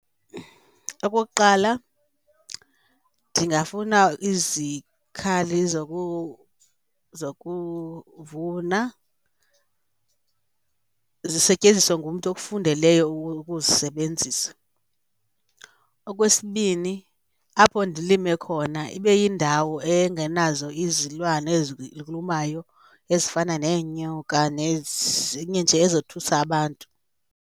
Okokuqala, ndingafuna izikhali zokuvuna zisetyenziswe ngumntu okufundeleyo ukuzisebenzisa. Okwesibini, apho ndilime khona ibe yindawo engenazo izilwane ezilumayo ezifana neenyoka nezinye nje ezothusa abantu.